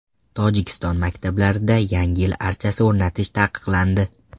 Tojikiston maktablarida Yangi yil archasi o‘rnatish taqiqlandi.